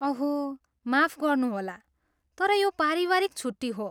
ओह माफ गर्नुहोला, तर यो पारिवारिक छुट्टी हो।